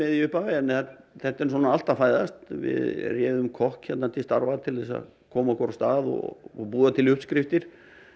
í upphafi en þetta er allt að fæðast við réðum kokk hérna til starfa til að koma okkur af stað og búa til uppskriftir